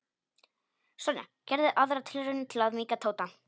Sonja gerði aðra tilraun til að mýkja Tóta.